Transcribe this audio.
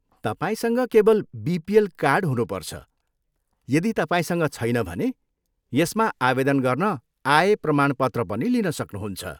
तपाईँसँग केवल BPL card हुनुपर्छ, यदि तपाईँसँग छैन भने यसमा आवेदन गर्न आय प्रमाणपत्र पनि लिन सक्नुहुन्छ।